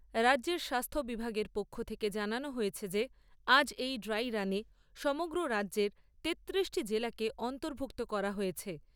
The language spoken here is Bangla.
রাজ্যের স্বাস্থ্য বিভাগের পক্ষ থেকে জানানো হয়েছে যে আজ এই ড্রাই রানে সমগ্র রাজ্যের তেত্তিরিশটি জেলাকে অর্ন্তভুক্ত করা হয়েছে।